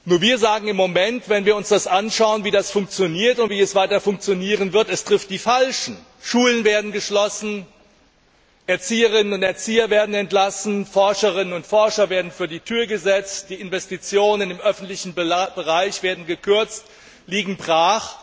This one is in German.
Doch wenn wir uns anschauen, wie das funktioniert und wie es weiter funktionieren wird, müssen wir feststellen Es trifft die Falschen. Schulen werden geschlossen, Erzieherinnen und Erzieher werden entlassen, Forscherinnen und Forscher werden vor die Tür gesetzt, die Investitionen im öffentlichen Bereich werden gekürzt, liegen brach.